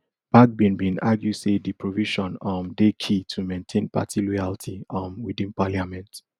bagbin bin argue say di provision um dey key to maintain party loyalty um within parliament